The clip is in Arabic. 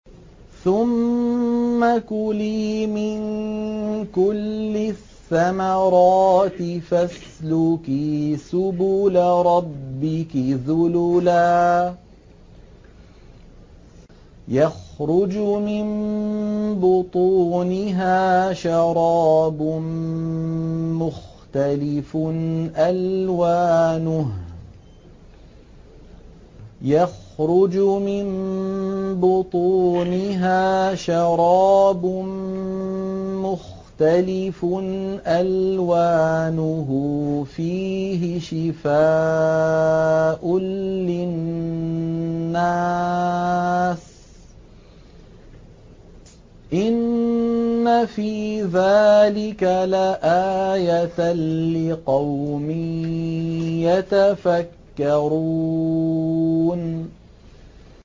ثُمَّ كُلِي مِن كُلِّ الثَّمَرَاتِ فَاسْلُكِي سُبُلَ رَبِّكِ ذُلُلًا ۚ يَخْرُجُ مِن بُطُونِهَا شَرَابٌ مُّخْتَلِفٌ أَلْوَانُهُ فِيهِ شِفَاءٌ لِّلنَّاسِ ۗ إِنَّ فِي ذَٰلِكَ لَآيَةً لِّقَوْمٍ يَتَفَكَّرُونَ